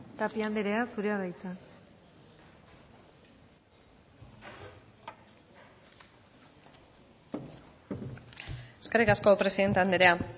tapia andrea zurea da hitza eskerrik asko presidente andrea